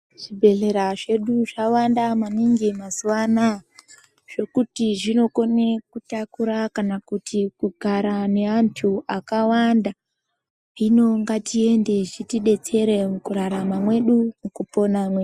Zvibhedhlera zvedu zvawanda maningi mazuva anaya zvokuti zvinokone kutakura kana kuti kugara neanthu akawanda. Hino ngatiende zvitidetsere mukurarama mwedu mukupona mwedu.